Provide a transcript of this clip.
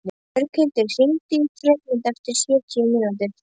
Björghildur, hringdu í Freymund eftir sjötíu mínútur.